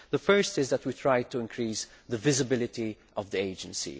The first point is that we tried to increase the visibility of the Agency.